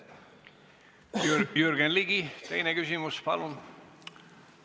Jürgen Ligi, teine küsimus, palun!